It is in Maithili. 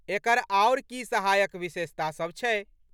एकर आओर की सहायक विशेषतासभ छै?